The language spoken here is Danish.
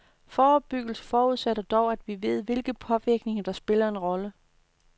Forebyggelse forudsætter dog, at vi ved, hvilke påvirkninger der spiller en rolle.